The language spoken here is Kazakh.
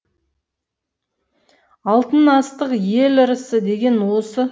алтын астық ел ырысы деген осы